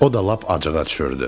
O da lap acığa düşürdü.